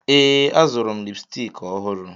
Ee, azụrụ m lipstiki ọhụrụ.